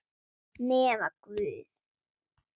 Nema guð.